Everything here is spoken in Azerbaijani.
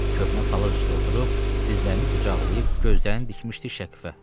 Köhnə palaz üstə oturub, dizlərini qucaqlayıb, gözlərini dikmişdi şəkfə.